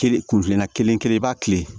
Kelen kun filanan kelen kelen i b'a kile